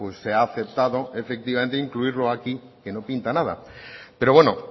se ha aceptado efectivamente incluirlo aquí que no pinta nada pero bueno